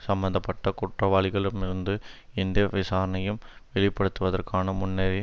சம்பந்த பட்ட குற்றவாளிகளிம்மிருந்து எந்த விசாரனையு ம் வெளிப்படுத்தப்படுவதற்கான முன்னரே வந்